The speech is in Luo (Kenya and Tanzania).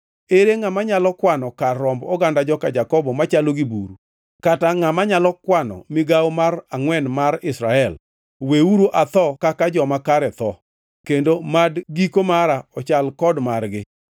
Ere ngʼama nyalo kwano kar romb oganda joka Jakobo machalo gi buru kata ngʼama nyalo kwano migawo mar angʼwen mar Israel? Weuru atho kaka joma kare tho, kendo mad giko mara ochal kod margi!”